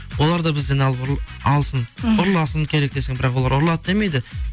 олар да бізден алсын ұрласын керек десең бірақ олар ұрлады демейді